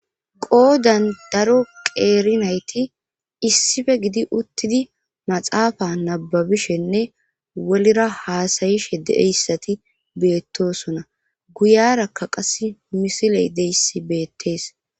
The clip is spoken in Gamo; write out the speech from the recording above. qoodan daro qeerinayti issife gidi uttidi maxaafa nababishenne wolira haasayishe deeyssati beettosona guyarakka qas misiley deyssi beettees